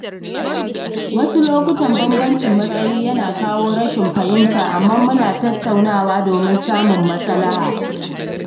Wasu lokuta bambancin matsayi yana kawo rashin fahimta, amma muna tattaunawa domin samun maslaha.